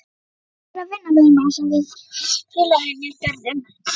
Ég ætla mér að vinna veðmál sem við félagarnir gerðum.